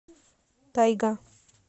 тайга